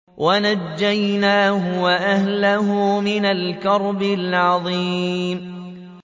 وَنَجَّيْنَاهُ وَأَهْلَهُ مِنَ الْكَرْبِ الْعَظِيمِ